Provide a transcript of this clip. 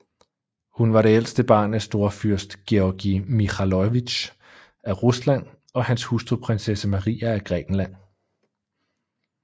Hun var det ældste barn af storfyrst Georgij Mikhailovitj af Rusland og hans hustru prinsesse Maria af Grækenland